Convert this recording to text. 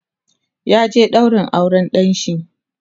ya je ɗaurin auran ɗanshi